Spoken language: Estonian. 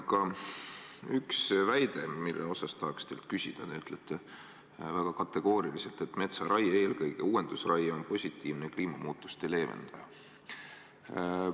Aga on üks väide, mille kohta tahaks teilt küsida: te ütlete väga kategooriliselt, et metsaraie, eelkõige uuendusraie, on positiivne kliimamuutuste leevendaja.